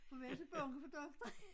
For vi er så bange for doktor